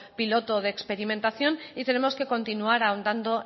piloto de experimentación y tenemos que continuar ahondando